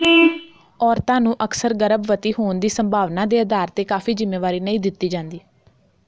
ਔਰਤਾਂ ਨੂੰ ਅਕਸਰ ਗਰਭਵਤੀ ਹੋਣ ਦੀ ਸੰਭਾਵਨਾ ਦੇ ਅਧਾਰ ਤੇ ਕਾਫ਼ੀ ਜਿੰਮੇਵਾਰੀ ਨਹੀਂ ਦਿੱਤੀ ਜਾਂਦੀ